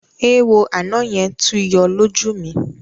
Eéwo àná yẹn tún yọ lójú mi.